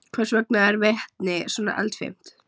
Hvers vegna er vetni svona eldfimt?